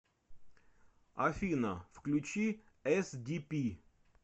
афина включи эсдипи